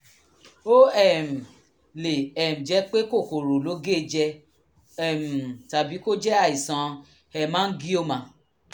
ó um lè um jẹ́ pé kòkòrò ló gé e jẹ um tàbí kó jẹ́ àìsàn hemangioma